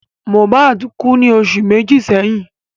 Mohbad kú ní oṣù méjì sẹ́yìn